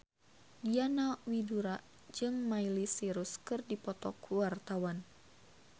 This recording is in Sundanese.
Diana Widoera jeung Miley Cyrus keur dipoto ku wartawan